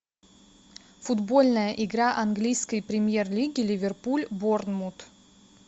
футбольная игра английской премьер лиги ливерпуль борнмут